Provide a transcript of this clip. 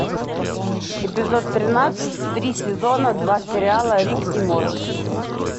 эпизод тринадцать три сезона два сериала рик и морти